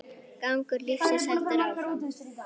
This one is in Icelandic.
Gangur lífsins heldur því áfram.